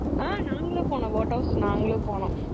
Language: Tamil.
ஆஹ் நாங்களும் போனோம் boat house நாங்களும் போனோம்.